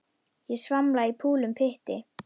Ég svamla í fúlum pytti.